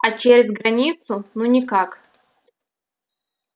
а через границу ну никак